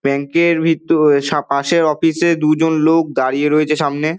Bank এর ভিত সা পশে অফিসে দুজন লোক দাঁড়িয়ে রয়েছে সামনে।